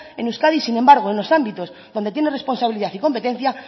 en euskadi sin embargo en los ámbitos donde tiene responsabilidad y competencia